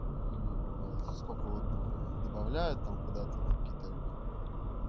сколько ватт находит добавляют там куда-то на какие-то